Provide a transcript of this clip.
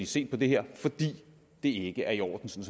se på det her fordi det ikke er i orden